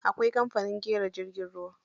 Akwai kamfanin ƙera jirgin ruwa.